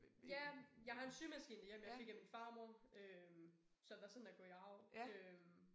Ja jeg har en symaskine derhjemme jeg fik af min farmor øh som der sådan er gået i arv øh